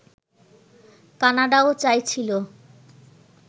কানাডাও চাইছিল